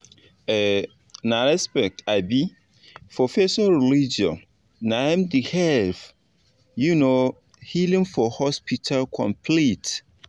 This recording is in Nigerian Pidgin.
um na respect um for person religion naim da help um healing for hospital complete